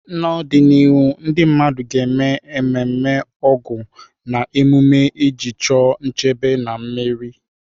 N'ọdịnihu, ndị mmadụ ga-eme ememe Ọgu na emume na emume iji chọọ nchebe na mmeri.